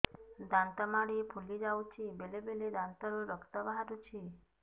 ଦାନ୍ତ ମାଢ଼ି ଫୁଲି ଯାଉଛି ବେଳେବେଳେ ଦାନ୍ତରୁ ରକ୍ତ ବାହାରୁଛି